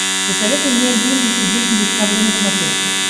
посоветуй мне айди инвестигейшн дискавери на смотрешке